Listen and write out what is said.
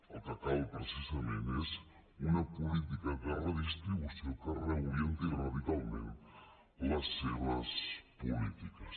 el que cal precisament és una política de redistribució que reorienti radicalment les seves polítiques